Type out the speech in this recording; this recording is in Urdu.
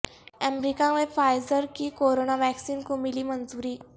امریکہ میں فائزر کی کورونا ویکسن کو ملی منظوری